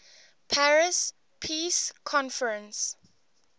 paris peace conference